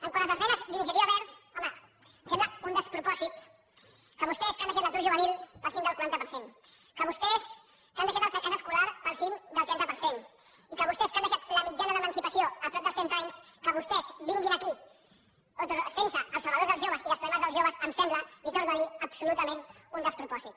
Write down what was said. quant a les esmenes d’iniciativa verds home em sembla un despropòsit que vostès que han deixat l’atur juvenil pel cim del quaranta per cent que vostès que han deixat el fracàs escolar pel cim del trenta per cent i que vostès que han deixat la mitjana d’emancipació a prop dels trenta anys que vostès vinguin aquí fent se els salvadors dels joves i dels problemes dels joves em sembla li ho torno a dir absolutament un despropòsit